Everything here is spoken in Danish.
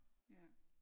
Ja